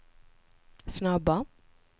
snabba